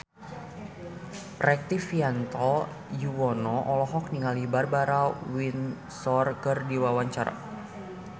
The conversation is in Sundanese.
Rektivianto Yoewono olohok ningali Barbara Windsor keur diwawancara